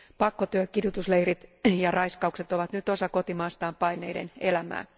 Pakkotyö, kidutusleirit ja raiskaukset ovat nyt osa kotimaastaan paenneiden elämää.